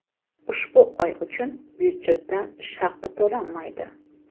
ushbu oy uchun byudjetdan ish haqi to‘lanmaydi.